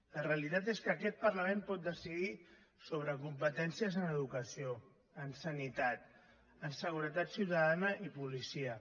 la realitat és que aquest parlament pot decidir sobre competències en educació en sanitat en seguretat ciutadana i policia